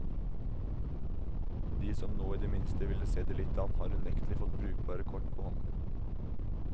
De som nå i det minste ville se det litt an, har unektelig fått brukbare kort på hånden.